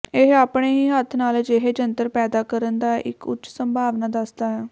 ਇਹ ਆਪਣੇ ਹੀ ਹੱਥ ਨਾਲ ਅਜਿਹੇ ਜੰਤਰ ਪੈਦਾ ਕਰਨ ਦਾ ਇੱਕ ਉੱਚ ਸੰਭਾਵਨਾ ਦੱਸਦਾ ਹੈ